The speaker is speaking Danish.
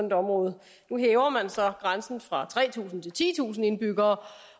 et område nu hæver man så grænsen fra tre tusind til titusind indbyggere